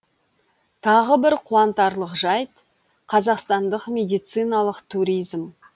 тағы бір қуантарлық жайт қазақстандық медициналық туризм